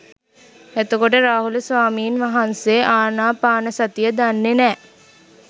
එතකොට රාහුල ස්වාමීන් වහන්සේ ආනාපානසතිය දන්නෙ නෑ